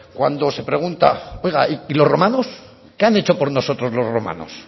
cuando se pregunta oiga y los romanos qué han hecho por nosotros los romanos